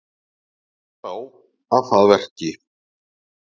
Bent er á að það veki